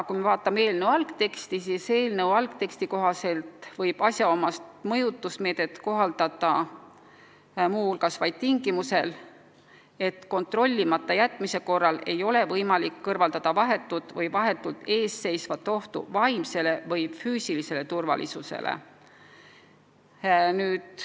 Kui me vaatame eelnõu algteksti, siis näeme, et selle kohaselt võib asjaomast mõjutusmeedet kohaldada muu hulgas vaid siis, kui kontrollimata jätmise korral ei ole võimalik kõrvaldada vahetut või vahetult eesseisvat ohtu vaimsele või füüsilisele turvalisusele.